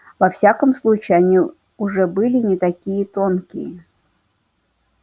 во всяком случае они уже были не такие тонкие